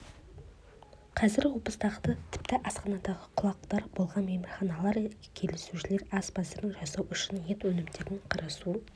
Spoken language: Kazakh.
қазір облыстағы тіпті астанадағы құлағдар болған мейрамханалар келушілерге ас мәзірін жасау үшін ет өнімдерін қарасу